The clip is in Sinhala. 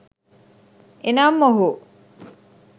එනම් ඔහු